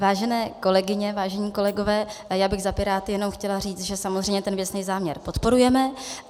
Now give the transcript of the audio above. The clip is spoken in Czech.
Vážené kolegyně, vážení kolegové, já bych za Piráty jenom chtěla říct, že samozřejmě ten věcný záměr podporujeme.